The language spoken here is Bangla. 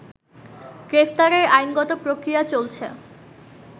গ্রেফতারের আইনগত প্রক্রিয়া চলছে